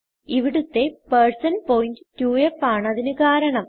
ഇവിടുത്തെ പോയിന്റ് 2ഫ് ആണ് അതിന് കാരണം